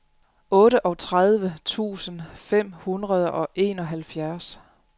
otteogtredive tusind fem hundrede og enoghalvfjerds